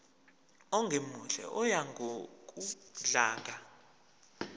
ongemuhle oya ngokudlanga